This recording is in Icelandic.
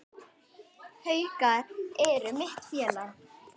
Haukar eru mitt félag.